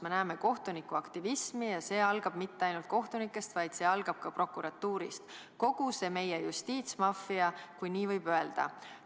Me näeme kohtunike aktivismi ja see algab mitte ainult kohtunikest, vaid see algab ka prokuratuurist – kogu see meie justiitsmaffia, kui nii võib öelda.